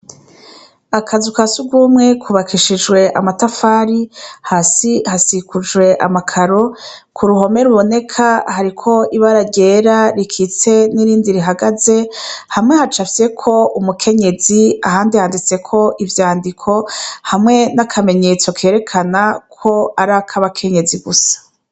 Akazu ka sugumwe kubakishijwe amatafari hasi hasikujwe amakaro kuruhome ruboneka hariko ibara ryera rikitse nirindi rihagaze hamwe hacapfyeko umukenyezi ahandi handitseko ivyandiko hamwe nakamenyetso kerakana ko arak’abakenyezi gusa.